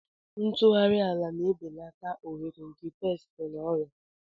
ntụgharị ala na-ebelata ohere nke pesti na ọrịa.